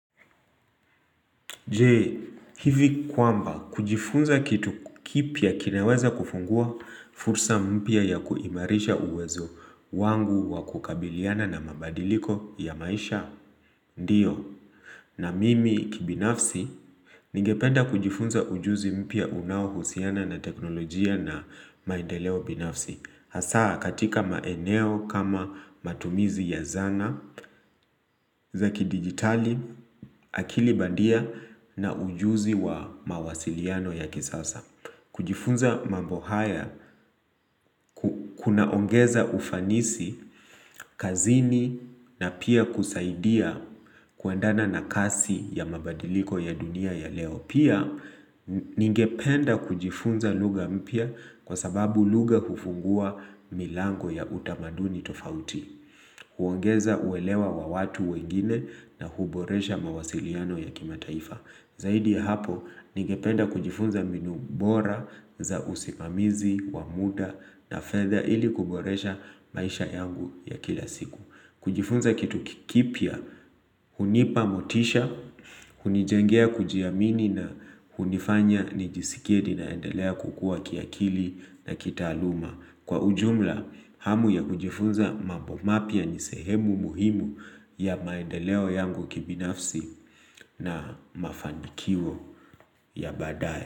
Je, hivi kwamba, kujifunza kitu kipya kinaweza kufungua fursa mpya ya kuimarisha uwezo wangu wa kukabiliana na mabadiliko ya maisha? Ndiyo, na mimi kibinafsi, ningependa kujifunza ujuzi mpya unaohusiana na teknolojia na maendeleo binafsi. Hasa katika maeneo kama matumizi ya zana, za kidijitali, akilibandia na ujuzi wa mawasiliano ya kisasa. Kujifunza mambo haya, kunaongeza ufanisi, kazini na pia kusaidia kuendana na kasi ya mabadiliko ya dunia ya leo. Pia, ningependa kujifunza lugha mpya kwa sababu lugha hufungua milango ya utamaduni tofauti. Huongeza uelewa wa watu wengine na huboresha mawasiliano ya kimataifa. Zaidi ya hapo, ningependa kujifunza mbinu bora za usimamizi, wa muda na fedha ili kuboresha maisha yangu ya kila siku. Kujifunza kitu kikipya, hunipamotisha, hunijengea kujiamini na hunifanya nijisikie ninaendelea kukua kiakili na kitaaluma. Kwa ujumla, hamu ya kujifunza mambo mapya ni sehemu muhimu ya maendeleo yangu kibinafsi na mafanikio ya baadaye.